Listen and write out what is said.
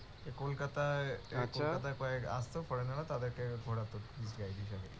কলকাতায় কলকাতায় কয়েক আসত রা তাদেরকে ঘোরাতে হিসাবে